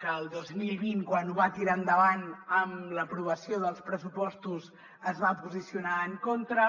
que el dos mil vint quan ho va tirar endavant amb l’aprovació dels pressupostos es va posicionar en contra